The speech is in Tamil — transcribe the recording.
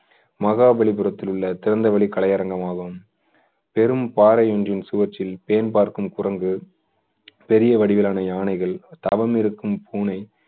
மகாபலிபுரத்தில் உள்ள திறந்தவெளி கலையரங்கம் ஆகும் பெரும் பாறை ஒன்றின் சுவற்றில் பேன் பார்க்கும் குரங்கு, பெரிய வடிவிலான யானைகள், தவமிருக்கும் பூனை